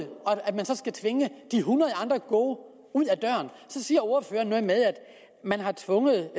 tvinge de hundrede andre gode eksempler ud ad døren så siger ordføreren noget med at man har tvunget